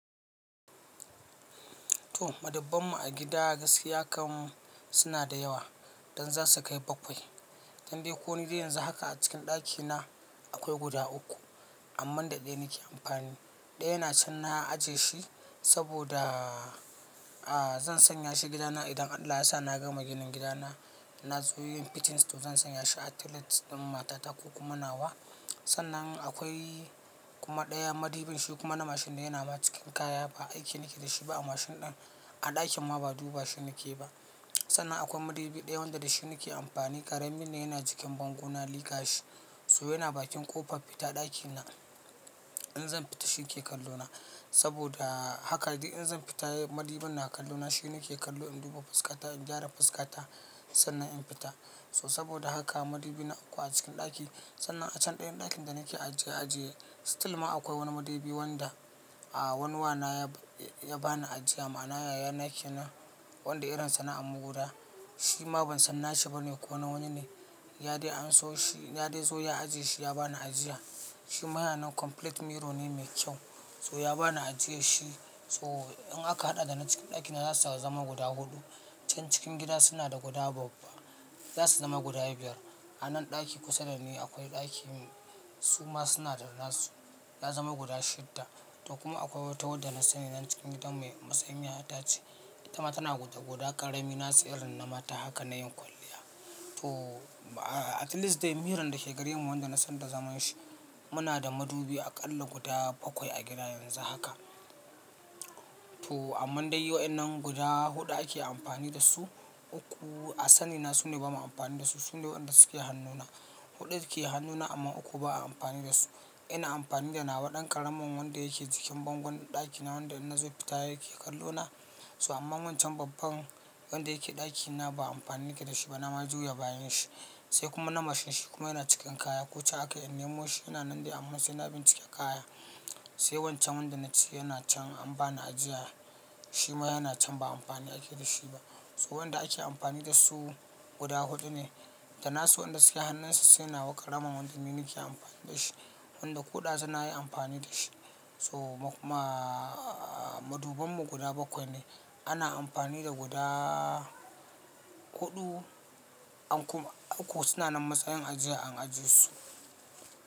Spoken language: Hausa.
To madubbban mu a gida gaskiya kam suna da yawa don za su kai bakwai. Dan dai ko nidai yanzu haka a cikin ɗakina akwai guda uku, amman da ɗaya nake amfani. Ɗaya na can na ajiye shi saboda, a zan sanya shi gidana idan Allah ya sa na gama ginin gidana. Na zo yin fitting to zan sanya shi a toilet ɗin matata ko kuma nawa. Sannan akwai kuma ɗaya madubin shi kuma na mashin da yana ma cikin kaya ba aiki nake da shi ba a mashin ɗin, a ɗakin ma ba duba shi nake ba. Sannan akwai madubi ɗaya wanda da shi nake amfani ƙaramin ne yana jikin bango na liƙa shi. So yana bakin ƙofar fita ɗakina. In zan fita shi ke kallo na. Saboda haka dai in zan fita madubin na kallo na shi nake kallo in duba fuskata in gyara fuskata sannan in fita. So saboda haka madubi na uku a cikin ɗaki sannan a can ɗayan ɗakin da nake ajiye ajiye still ma akwai wani madubi wanda, a wani wana ya ba ni ajiya ma na yaya nake na wanda irinsa na Amuguda. Shi ma ban san na shi ba ne ko na wani ne. Ya dai an so shi, ya dai so ya ajiye shi ya ba ni ajiya. Shima yana nan complete mirror ne mai kyau. So ya ba ni ajiye shi. So in aka haɗa da na cikin ɗakina za su zama guda huɗu. Can cikin gida suna da guda babba. Za su zama guda biyar. A nan ɗaki kusa da ni akwai ɗakin suma suna da nasu. Ya zama guda shidda. To kuma akwai wata wadda nasani nan cikin gidanmu kusan yayatace, itama tanada guda karami irin nasu na mata nayin kwalliya to a at least dai miron da ke gare mu wanda na san da zaman shi muna da madubi aƙalla guda bakwai a gida yanzu haka. To amma dai waɗannan guda huɗu ake amfani da su, uku a sani na su ne bamu amfani da su. Su ne waɗanda suke hannuna. Huɗu ke hannuna amma uku ba a amfani da su. Ina amfani da nawa dan karamin wanda yake jikin bangon dakina wanda innazo fita yake kallona. So amma wancan babban wanda yake ɗakina ba amfani nake da shi ba na ma juya bayan shi. Sai kuma na mashin shi kuma yana cikin kaya. Ko can aka iya nemo shi yana nan dai amma sai na bincike kaya. Sai wancan wanda na ci yana can an ba ni ajiya. Shi ma yana can ba amfani ake da shi ba. So waɗanda ake amfani da su guda huɗu ne. Da nasu waɗanda suke hannunsa sai nawa ƙaramin wanda ni nake amfani da shi. Wanda ko dazu nayi amfani dashi. So kuma madubbban mu guda bakwai ne. Ana amfani da guda huɗu ankuma uku suna nan matsayin ajiya an ajiye su.